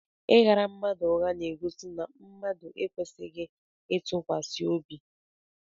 Ị ghara mmadụ ụgha na-egosi na mmadụ ekwesịghị ntụkwasị obi.